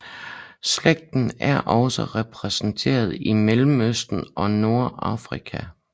Slægten er også repræsenteret i Mellemøsten og Nordafrika